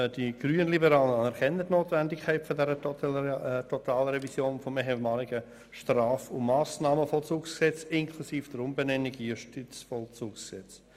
Die Grünliberalen anerkennen die Notwendigkeit der Totalrevision des ehemaligen Straf- und Massnahmenvollzugsgesetzes inklusive der Umbenennung in Justizvollzugsgesetz.